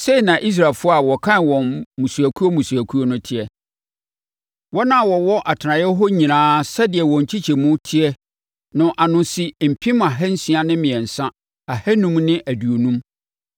Sei na Israelfoɔ a wɔkan wɔn mmusuakuo mmusuakuo no teɛ. Wɔn a wɔwɔ atenaeɛ hɔ nyinaa, sɛdeɛ wɔn nkyekyɛmu teɛ no ano si mpem ahansia ne mmiɛnsa ahanum ne aduonum (603,550).